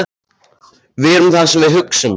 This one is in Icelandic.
Við erum það sem við hugsum- hélt hann áfram.